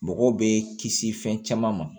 Mɔgɔw bɛ kisi fɛn caman ma